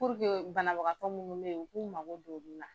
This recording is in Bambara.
banabagatɔ munnu bɛ ye u k'u mago don olu la.